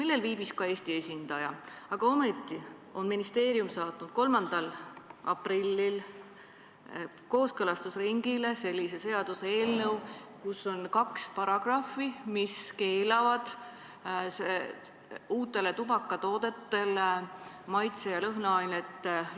Seal viibis ka Eesti esindaja, aga ometi on ministeerium saatnud 3. aprillil kooskõlastusringile seaduseelnõu, kus on kaks paragrahvi, mis keelavad uutes tubakatoodetes maitse- ja lõhnaained.